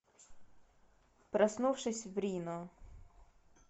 проснувшись в рино